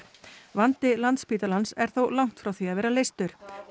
vandi Landspítalans er þó langt frá því að vera leystur